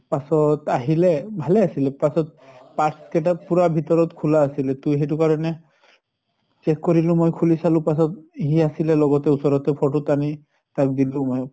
পাছত আহিলে, ভালে আছিল পাছত parts কেটাত পুৰা ভিতৰত খুলা আছিলে। তো সেইটো কাৰণে check কৰিলোঁ মই খুলি চালো পাছত। সি আছিলে লগতে ওচৰত, ত photo টানি তাক দিলো মই